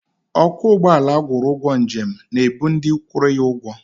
Ọkwọ ụgbọala agwụrụ ụgwọ njem na-ebu ndị kwụrụ ya ụgwọ.